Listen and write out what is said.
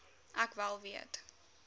ek wel weet